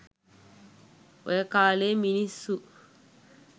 ඔය කාලෙ මිනිස්සු